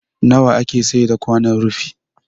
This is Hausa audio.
Nawa ake saida kwanon rufi?